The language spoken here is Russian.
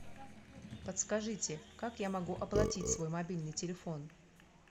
подскажите как я могу оплатить свой мобильный телефон